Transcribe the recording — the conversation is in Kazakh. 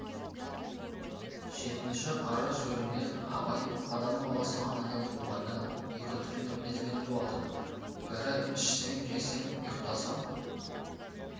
жетінші қара сөзінде абай адам баласы анадан туғанда екі түрлі мінезбен туады бірі ішсем жесем ұйықтасам